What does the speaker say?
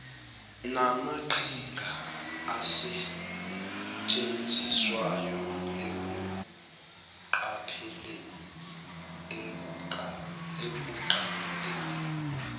namaqhinga asetshenziswayo ekunqandeni